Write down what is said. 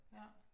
Ja